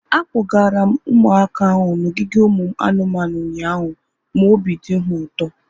Akpọgara m ụmụaka ahu n'ogige ụmụ anụmanụ ụnyaahụ ma obi dị ha ụtọ